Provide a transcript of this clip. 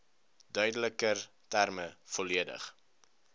duideliker terme volledig